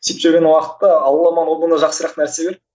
сөйтіп жүрген уақытта алла маған одан да жақсырақ нәрсе берді